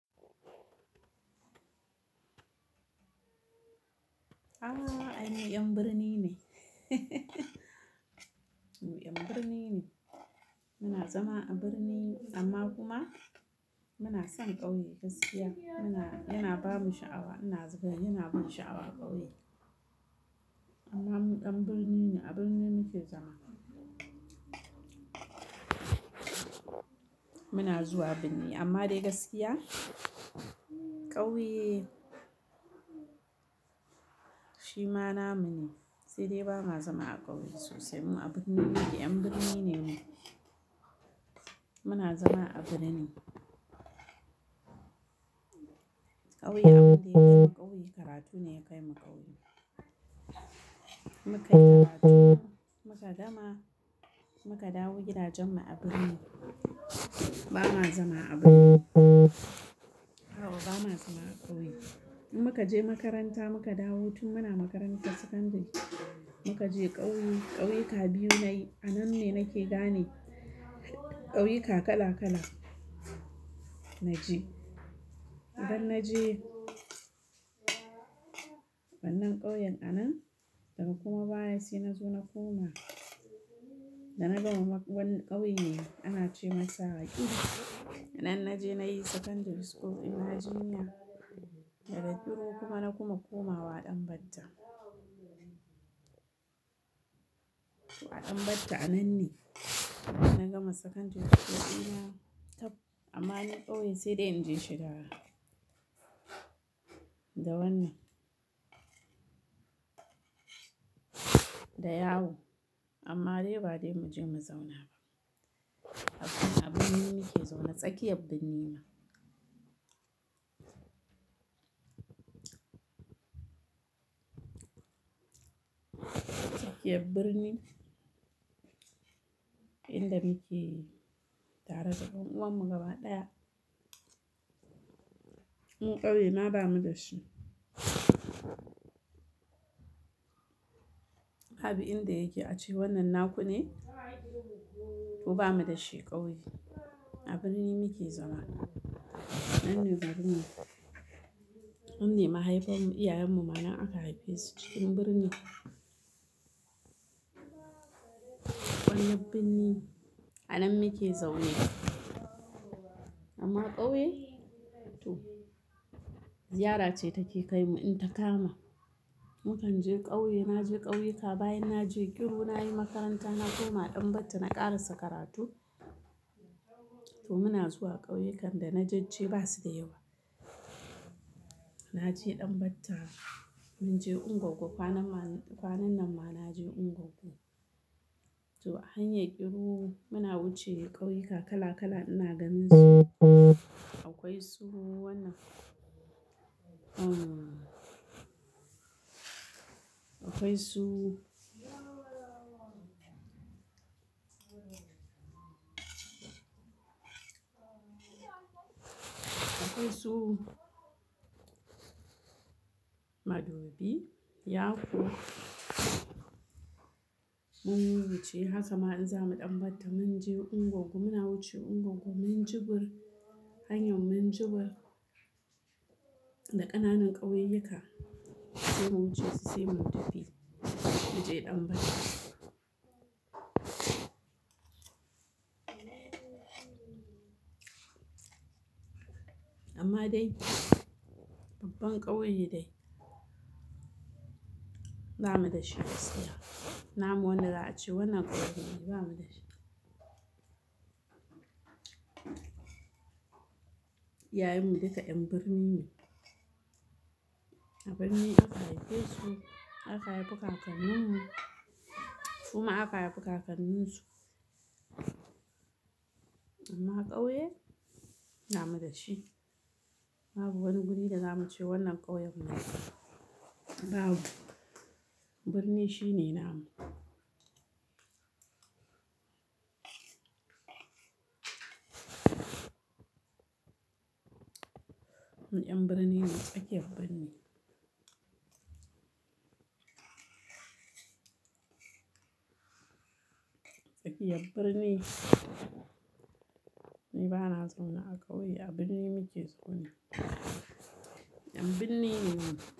A'a, ai mu 'yan birni ne. Mu 'yan birni ne. Muna zama a birni amma kuma muna son ƙauye gaskiya. Muna, yana ba mu sha'awa, ina zuwa yana ba mu sha'awa ƙauye. Amma mu ƴan birni ne, a birni muke zama. Muna zuwa birni amma dai gaskiya ƙauye shi ma na mu ne. Sai dai ba ma zama a ƙauye sosai. Mu a birni ne, 'yan birni ne mu. Muna zama a birni. Ƙauye abun da ya kai mu ƙauye karatu ne ya kai mu ƙauye. Mu kai karatu muka gama, muka dawo gidajen mu a birni. Ba ma zama a birni. A'a ba ma zama a ƙauye. In muka je makaranta muka dawo tun muna makarantar sakandare muka je ƙauye. Ƙauye ka biyu nayi, a nan ne nake gane ƙauyuka kala-kala. Na je, idan na je wannan ƙauyen a nan daga kuma baya si nazo na koma da na gama makaranta wani ƙauye ne ana ce masa Akilu. Anan na je na yi Secondary School Imagina, daga Kiru kuma na kuma komawa Danbatta. A Danbatta anan ne na gama Secondary School Imagina. Amma ni ƙauye saidai inje shiga da wannan, da yawo. Amma dai ba dai muje mu zauna ba. Har tun a birni muke zaune. Tsakiyar birni ma. Tsakiyar birni inda muke tare da ƴan uwan mu gaba ɗaya. Mu ƙauye ma bamu da shi. Babu inda yake a ce wannan naku ne ku ba mu da shi ƙauye. A birni muke zama. Anan ne birni. Anan ne mahaifanmu, iyayenmu ma nan aka haife su cikin birni. Wannan birni anan muke zaune. Amma ƙauye to ziyara ce take kai mu in ta kama. Mu kan je ƙauye. Na je ƙauyuka bayan na je Kiru na yi makaranta na koma Danbatta na ƙarasa karatu. To muna zuwa ƙauye kan da na je ji ba su da yawa. Na je Danbatta, mun je Ungoggo. Kwanan ma, kwanan nan ma na je Ungoggo. To a hanyar Kiru muna wuce ƙauyuka kala-kala ina ganin su. Akwai su wannan, akwai su, akwai su madobi, yako mun wuce. Hakama in zamu Danbatta mun je Ungoggo muna wuce Ungoggo. Minjibir hanyar Minjibir da ƙananan ƙauyuka sai mun wuce sai mun tafi muje Danbatta. Amma dai babban ƙauye dai ba mu da shi gaskiya. Na mu wannan za a ce wannan ƙauyen ne ba mu da shi. Iyayenmu duka 'yan birni ne. A birni aka haife su, aka haifi kakannin mu suma aka haifi kakanninsu. Amma ƙauye ba mu da shi. Babu wani guri da za mu ce wannan ƙauyen na mu. Babu. Birni shi ne na mu. Mu 'yan birni ne tsakiyar birni. Tsakiyar birni. Ni bana zaune a ƙauye a birni muke zau ne. 'Yan birni ne mu.